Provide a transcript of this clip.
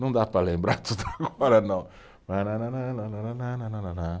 Não dá para lembrar tudo agora, não.